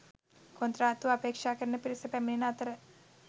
කොන්ත්‍රාත්තුව අපේක්‍ෂා කරන පිරිස පැමිණෙන අතර